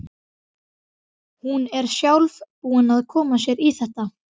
Hún er sjálf búin að koma sér í þetta.